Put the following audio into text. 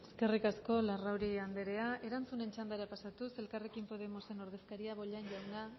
besterik gabe eskerrik asko eskerrik asko larrauri anderea erantzunen txandara pasatuz elkarrekin podemosen ordezkaria bollain jauna